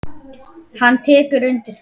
Hann tekur undir þetta.